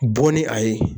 Bɔn ni a ye